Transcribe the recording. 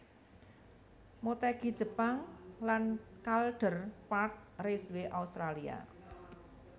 Motegi Jepang lan Calder Park Raceway Australia